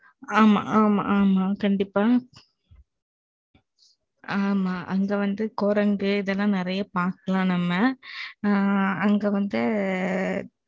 ஆமா, ஆமா, ஆமா. கண்டிப்பா ஆமா, அங்க வந்து, குரங்கு, இதெல்லாம் நிறைய பாக்கலாம், நம்ம. ஆ, அங்க வந்து,